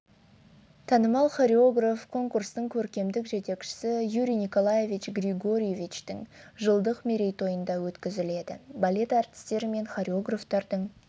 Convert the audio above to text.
танымал хореограф конкурстың көркемдік жетекшісі юрий николаевич григоровичтың жылдық мерейтойында өткізіледі балет әртістері мен хореографтарының